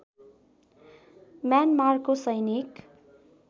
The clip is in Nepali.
म्यानमारको सैनिक